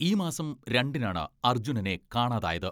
ഈ മാസം രണ്ടിനാണ് അർജുനനെ കാണാതായത്.